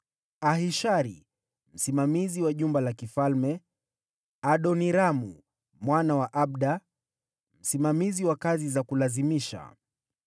Ahishari: msimamizi wa jumba la kifalme; Adoniramu mwana wa Abda: msimamizi wa kazi za kulazimisha.